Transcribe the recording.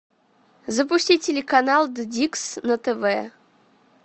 запусти телеканал дикс на тв